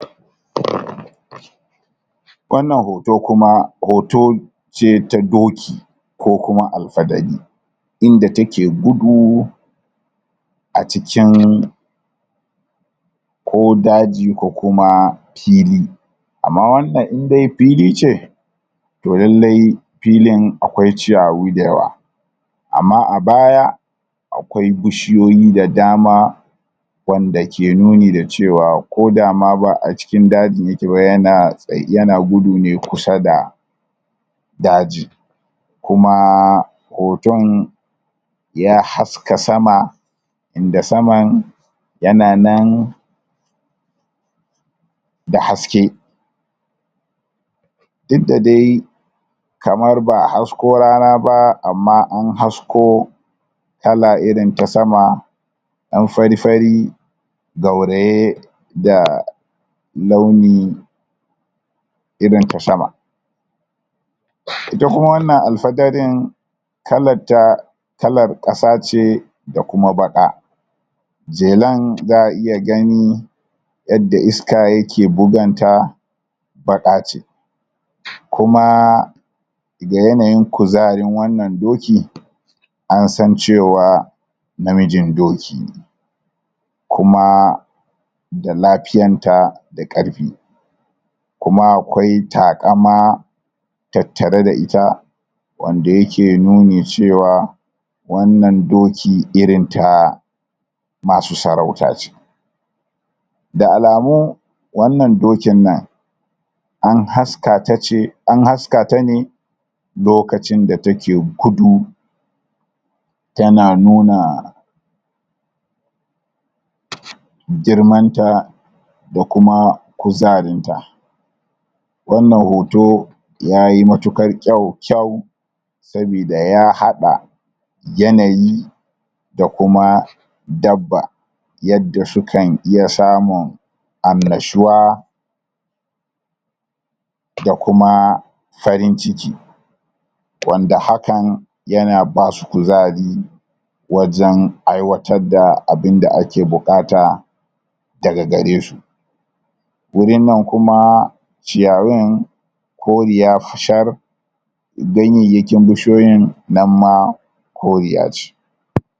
wannan hoto kuma hoto ce ta doki ko kuma alfadari inda take gudu a cikin ko daji ko kuma fili amma wannan in dai fili ce to lallai filin akwai ciyawi da yawa amma a baya akwai bishiyoyi da dama wanda ke nuni da cewa ko da ma ba acikin dajin yake ba yana dai yana gudu ne kusa da daji kumaa hoton ya haska sama inda saman yana nan da haske duk da dai kamar baa hasko rana ba amma an hasko kala irin ta sama dan fari fari gauraye da launi irin ta sama ita kuma wannan alfadarin kalar ta kalar kasa ce da kuma baqa jelan zaa iya gani yadda iska yake bugun ta baqa ce kumaa da yanayin kuzarin wannan dokin an san cewa namijin doki ne kumaa da lafiyan ta da karfi kuma akwai takama tattare da ita wanda yake nuni cewa wannan doki irin ta masu sarauta ce da alamu wannan dokin nan an haska tace an haska tane lokacin da take gudu tana nuna?? girman ta da kuma kuzarin ta wannan hoto yayi matukar kyau kyau sabida ya hada yanayi da kuma dabba yadda su kan iya samun annashuwa da kuma farin ciki wanda hakan yana basu kuzari wajan aiwatar da abunda ake bukata daga garesu wurin nan kuma ciyawun koriya shar gayyayakin bushiyoyin nan ma koriya ce?